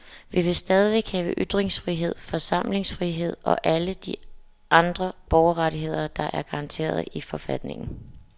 Vi vil stadig have ytringsfrihed, forsamlingsfrihed og alle de andre borgerrettigheder, der er garanteret i forfatningen.